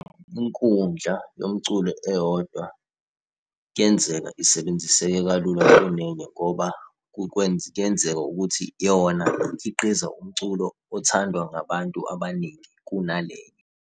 Inkundla yomculo eyodwa kuyenzeka isebenziseke kalula kunenye ngoba kuyenzeka ukuthi yona ikhiqiza umculo othandwa ngabantu abaningi kunale.